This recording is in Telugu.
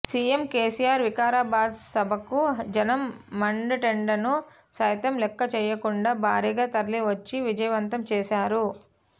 సీఎం కేసీఆర్ వికారాబాద్ సభకు జనం మండుటెండను సైతం లెక్కచేయకుండా భారీగా తరలివచ్చి విజయవంతం చేశారు